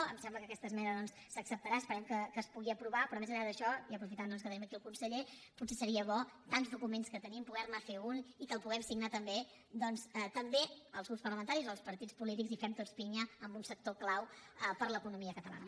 em sembla que aquesta esmena doncs s’acceptarà esperem que es pugui aprovar però més enllà d’això i aprofitant que tenim aquí el conseller potser seria bo tants documents que tenim poder ne fer un i que el puguem signar també els grups parlamentaris o els partits polítics i fem tots pinya en un sector clau per a l’economia catalana